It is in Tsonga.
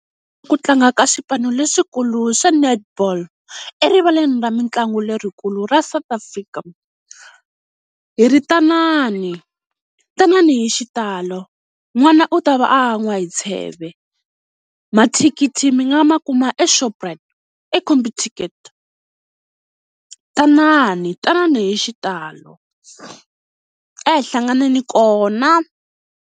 Ku tlanga ka swipanu leswikulu swa Netball erivaleni ra mitlangu lerikulu ra South Africa, hi ri tanani, tanani hi xitalo n'wana u ta va a n'wa hi tsheve. Mathikithi mi nga ma kuma eShoprite eComputicket tanani, tanani hi xitalo a hi hlanganeni kona.